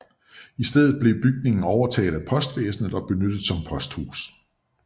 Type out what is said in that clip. I stedet blev bygningen overtaget af postvæsenet og benyttet som posthus